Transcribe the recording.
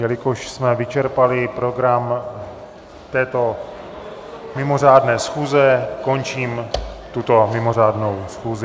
Jelikož jsme vyčerpali program této mimořádné schůze, končím tuto mimořádnou schůzi.